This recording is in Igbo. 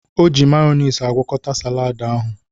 O ji mayọnis agwọkọta salad ahụ.